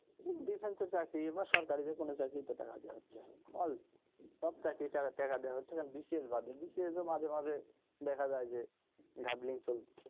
বিভিন্ন চাকরির জন্য সরকারের যেকোনো চাকরির জন্য টাকা দেওয়া হচ্ছে all সব চাকরির জন্য টাকা দেওয়া হচ্ছে BCS বাদে BCS এ মাঝে মাঝে দেখা যায় যে ঘাপলা চলছে,